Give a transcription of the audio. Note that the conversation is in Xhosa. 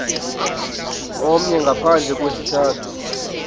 omnye ngaphandle kwesizathu